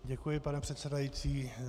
Děkuji, pane předsedající.